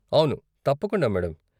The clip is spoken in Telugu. అవును, తప్పకుండా మేడం.